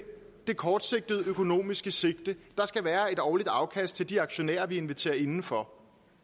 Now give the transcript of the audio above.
det kortsigtede økonomiske sigte at der skal være et årligt afkast til de aktionærer man inviterer indenfor